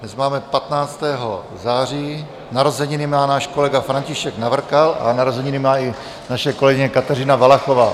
Dnes máme 15. září, narozeniny má náš kolega František Navrkal a narozeniny má i naše kolegyně Kateřina Valachová.